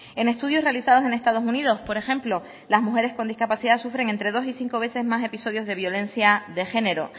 en estudios realizados en estados unidos por ejemplo las mujeres con discapacidad sufren entre dos y cinco veces más episodios de violencia de género